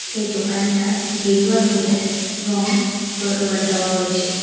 এই দোকানটা গেরুয়া রঙের রং করএ দেওয়া হয়েছে।